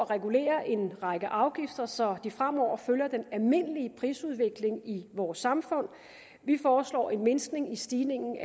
regulere en række afgifter så de fremover følger den almindelige prisudvikling i vores samfund vi foreslår en mindskning i stigningen